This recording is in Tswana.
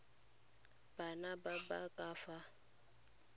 bana ba ba ka fa